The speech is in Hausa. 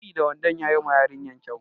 Biri da wandon yayi ma yarinyar kyau.